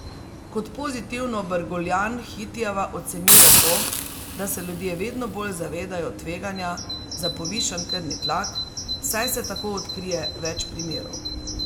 Kot pozitivno Brguljan Hitijeva ocenjuje to, da se ljudje vedno bolj zavedajo tveganja za povišan krvni tlak, saj se tako odkrije več primerov.